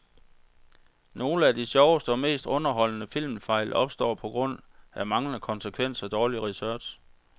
Nogle af de sjoveste og mest underholdende filmfejl opstår på grund af manglende konsekvens og dårlig research.